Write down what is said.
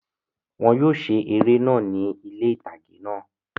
Wọn yóò ṣe eré náà ni ilé itage náà